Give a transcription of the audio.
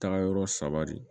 Taagayɔrɔ saba de